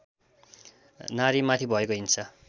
नारीमाथि भएको हिंसा